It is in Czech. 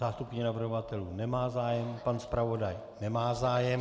Zástupkyně navrhovatelů nemá zájem, pan zpravodaj nemá zájem.